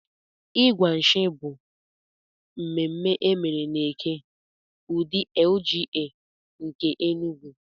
Ịgwa nshì bụ mmemme emere n'Eke, udi LGA nke Enugwu.